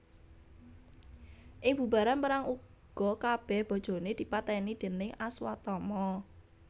Ing bubaran perang uga kabèh bojoné dipatèni déning Aswatama